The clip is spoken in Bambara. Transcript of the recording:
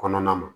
Kɔnɔna na